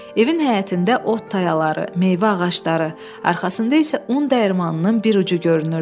Evin həyətində ot tayaları, meyvə ağacları, arxasında isə un dəyirmanının bir ucu görünürdü.